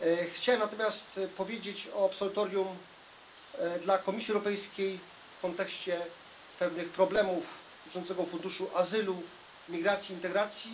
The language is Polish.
Chciałbym natomiast powiedzieć o absolutorium dla Komisji Europejskiej w kontekście pewnych problemów dotyczących Funduszu Azylu, Migracji i Integracji.